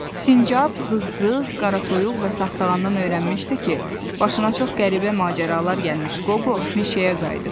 Sincab, zığ-zığ, qaratoyuq və sağsağandan öyrənmişdi ki, başına çox qəribə macəralar gəlmiş Qobo meşəyə qayıdıb.